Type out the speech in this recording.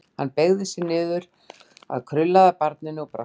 Hann beygði sig niður að krullaða barninu og brosti framan í það.